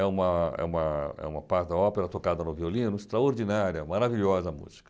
É uma é uma é uma parte da ópera tocada no violino, extraordinária, maravilhosa a música.